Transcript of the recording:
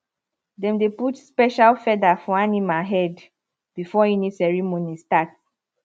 dem dey put special feather for animal head before any ceremony start